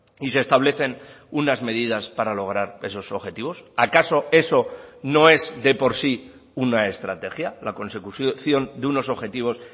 y se establecen unas medidas para lograr esos objetivos acaso eso no es de por sí una estrategia la consecución de unos objetivos